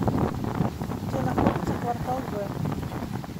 где находится квартал в